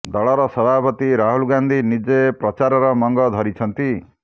ଦଳର ସଭାପତି ରାହୁଲ ଗାନ୍ଧୀ ନିଜେ ପ୍ରଚାରର ମଙ୍ଗ ଧରିଛନ୍ତି